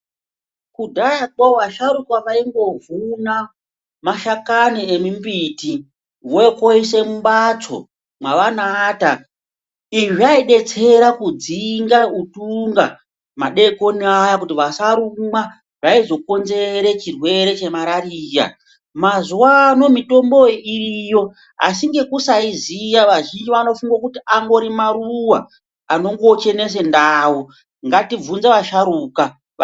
Kudhayakwo vasharukwa vaingovhuna mashakani emimbiti vouya koisa mumbatso mwavanoata, izvi zvaidetsera kudzinga utunga madeikoni Aya kuti vasharukwa. Zvaizokonzere chirwere chemararira. Mazuwano mitombo iyi iriyo asi ngekusaiziya vazhinji vanongofunga kuti maruwa anongochenese ndau ngatibvunze vasharukwa va.